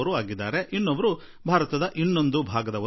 ಅಂತೂ ಭಾರತದ ಯಾವುದಾದರೂ ಒಂದು ಭಾಗದವರು